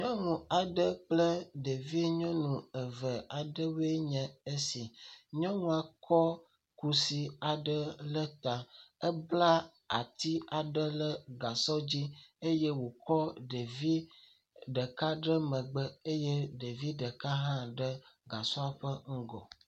Nyɔnu aɖe kple ɖevi nyɔnu eve aɖewoe nye esi. Nyɔnua kɔ kusi aɖe le ta. Ebla ati aɖe le gasɔ dzi eye wòkɔ ɖevi ɖeka ɖe megbe eye ɖevi ɖeka hã ɖe gasɔa hã ƒe ŋgɔ.